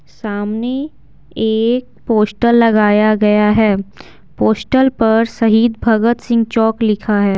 सामने एक पोस्टल लगाया गया है पोस्टल पर शहीद भगत सिंह चौक लिखा है।